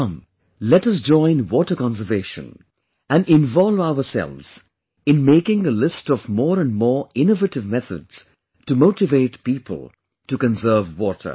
Come let us join water conservation, and involve ourselves in making a list of more and more innovative methods to motivate people to conserve water